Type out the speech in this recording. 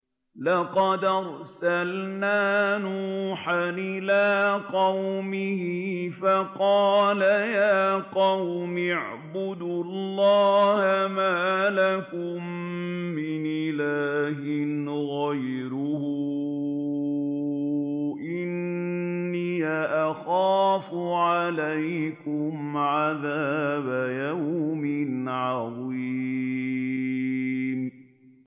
لَقَدْ أَرْسَلْنَا نُوحًا إِلَىٰ قَوْمِهِ فَقَالَ يَا قَوْمِ اعْبُدُوا اللَّهَ مَا لَكُم مِّنْ إِلَٰهٍ غَيْرُهُ إِنِّي أَخَافُ عَلَيْكُمْ عَذَابَ يَوْمٍ عَظِيمٍ